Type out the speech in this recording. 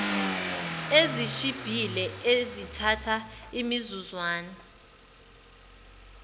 ezishibhile ezithatha imizuzwana